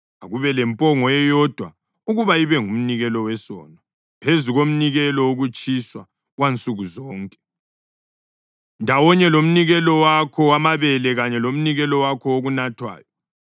Akube lempongo eyodwa ukuba ibe ngumnikelo wesono, phezu komnikelo wokutshiswa wansuku zonke ndawonye lomnikelo wakho wamabele kanye lomnikelo wakho wokunathwayo.